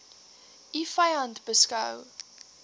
u vyand beskou